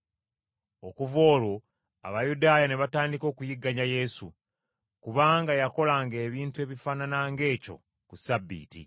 Okuva olwo Abayudaaya ne batandika okuyigganya Yesu, kubanga yakolanga ebintu ebifaanana ng’ekyo ku Ssabbiiti.